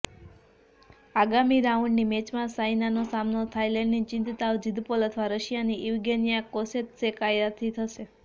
આગામી રાઉન્ડની મેચમાં સાઈનાનો સામનો થાઈલેન્ડની નિતચાંવ જિંદપોલ અથવા રશિયાની ઈવગેનિયા કોસેત્સેકાયાથી થશે